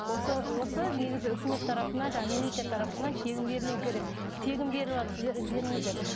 осы осы негізі үкімет тарапынан жаңағы мемлекет тарапынан тегін берілуі керек тегін беріватыр сіздер ізденіңіздер